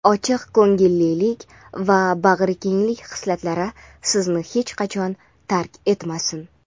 ochiq ko‘ngillik va bag‘rikenglik xislatlari sizni hech qachon tark etmasin.